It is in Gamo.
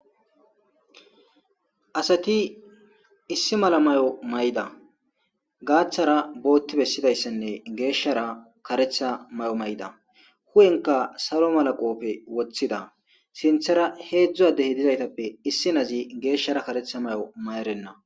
Asati issi mala may7o mayda gaaththara bootti bessidayssenne geeshshara karetha may7o mayda hu7enka salo malaqoppe woththida sinthara heedzdzu adehi dizaytappe issi nazi geeshshara karetha may7o mayerenna.